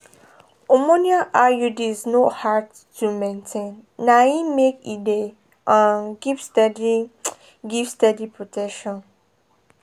hormonal iuds no hard to maintain na e make e dey um give steady give steady protection.